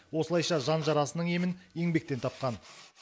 осылайша жан жарасының емін еңбектен тапқан